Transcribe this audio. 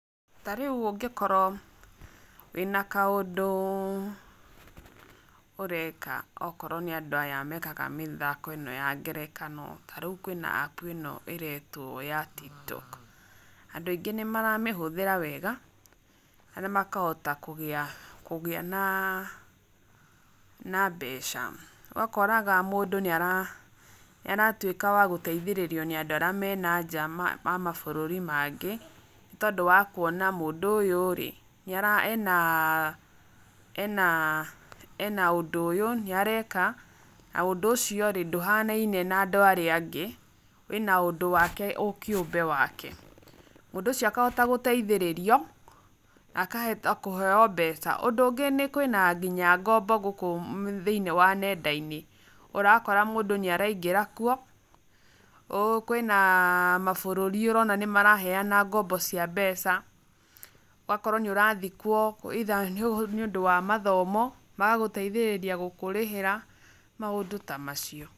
Ta rĩu ũngĩ korwo wĩna kaũndũ ũreka okorwo nĩ andũ aya mekaga mĩthako ya ngerekano ta rĩu kwĩna App ĩno ĩretwo ya Tiktok, andũ aingĩ nĩ maramĩhũthĩra wega na makahota kũgĩa na na mbeca, ũgakoraga mũndũ nĩ aratuĩka wa gũteithĩrĩrio nĩ andũ arĩa me na nja wa mabũrũri mangĩ, nĩ tondũ wa kuona mũndũ ũyũ rĩ nĩarĩ, ena ena ena ũndũ ũyũ, nĩ areka na ũndũ ũcio rĩ ndũhanaine na andũ arĩa angĩ wĩna ũndũ wake ũkĩũmbe wake, mũndũ ũcio akahota gũteithĩrĩrio akahota kũheyo mbeca, ũndũ ũngĩ nĩ kwina nginya ngombo gũkũ thĩiniĩ wa nenda-inĩ, ũrakora mũndũ nĩ araingĩra kuo, kwĩna mabũrũri ũrona maraheana ngombo cia mbeca, ũgakora nĩ ũrathiĩ kuo either nĩ ũndũ wa mathomo magagũteithĩrĩria gũkũrĩhĩra, maũndũ ta macio.